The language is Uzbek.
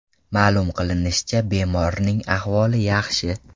Ma’lum qilinishicha bemorning ahvoli yaxshi.